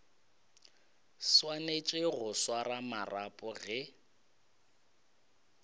swanetše go swara marapo ge